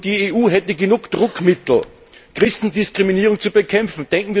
Die EU hätte genug Druckmittel, Christendiskriminierung zu bekämpfen.